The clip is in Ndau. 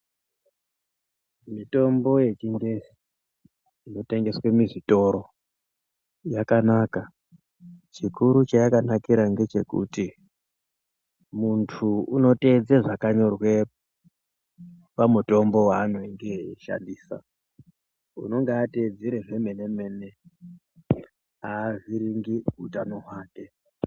Mitombo yechingezi inotengeswe muzvitoro yakanaka chikuru chayakanakira ngechekuti munhu unoteedze zvakanyorwe pamutombo waanenge eishandisa unonga ateedzere zvemenemene avhiringi utano hwake.